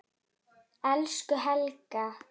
Elsku Helga.